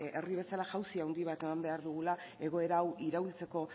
herri bezala jausi handi bat eman behar dugula egoera hau iraultzeko